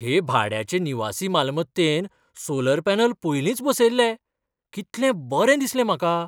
हे भाड्याचे निवासी मालमत्तेंत सोलर पॅनल पयलींच बसयल्ले. कितलें बरें दिसलें म्हाका!